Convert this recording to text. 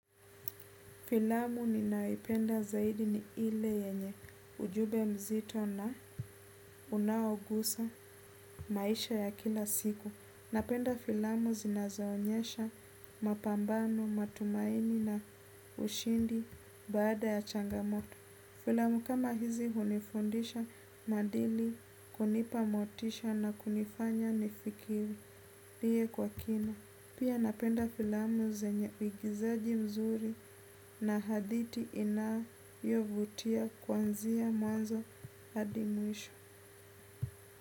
Filamu ninayoipenda zaidi ni ile yenye ujumbe mzito na unaogusa maisha ya kila siku. Napenda filamu zinazo onyesha mapambano, matumaini na ushindi baada ya changamoto. Filamu kama hizi hunifundisha maadili kunipa motisha na kunifanya nifikirie kwa kina pia napenda filamu zenye uigizaji mzuri na hadhiti inayovutia kwanzia mwanzo hadi mwisho.